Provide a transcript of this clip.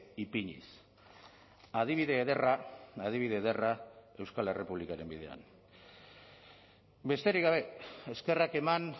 ipiniz adibide ederra adibide ederra euskal errepublikaren bidean besterik gabe eskerrak eman